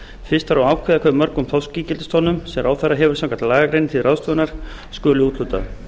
fyrst þarf að ákveða hve mörgum þorskígildistonnum sem ráðherra hefur samkvæmt lagagreininni til ráðstöfunar skuli úthlutað